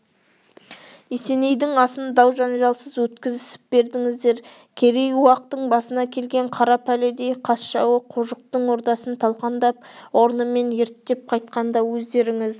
есенейдің асын дау-жанжалсыз өткізісіп бердіңіздер керей-уақтың басына келген қара пәледей қас жауы қожықтың ордасын талқандап орнымен ерттеп қайтқанда өздеріңіз